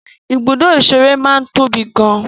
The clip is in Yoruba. Ibùdó ìṣeré máa ń tóbi gan an.